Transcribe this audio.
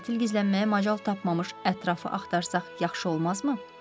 Qatil gizlənməyə macal tapmamış ətrafı axtarsaq yaxşı olmazmı?